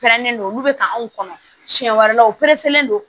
Pɛrɛnnen don olu bɛ ka anw kɔnɔ siɲɛ wɛrɛ u pereselen don